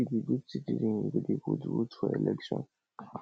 if you be good citizen you go dey vote for election